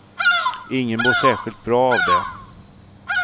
Ingen mår särskilt bra av det.